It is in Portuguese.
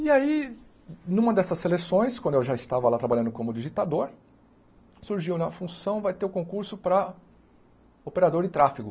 E aí, numa dessas seleções, quando eu já estava lá trabalhando como digitador, surgiu a função, vai ter o concurso para operador de tráfego.